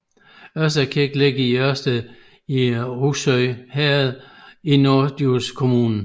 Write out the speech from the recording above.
Ørsted Kirke ligger i Ørsted i Rougsø Herred i Norddjurs Kommune